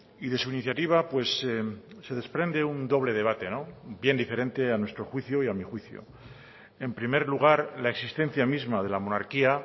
y de su iniciativa se desprende un doble debate bien diferente a nuestro juicio y a mi juicio en primer lugar la existencia misma de la monarquía